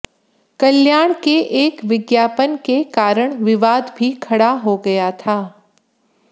कल्याण के एक विज्ञापन के कारण विवाद भी खड़ा हो गया था